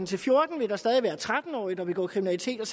til fjorten år vil der stadig være tretten årige der begår kriminalitet og